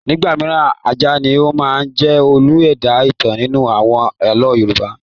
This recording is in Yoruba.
Nígbà mìíràn, ajá ni ó máa ń jẹ́ olú ẹ̀dá-ìtàn nínú àwọn àlọ́ Yorùbá.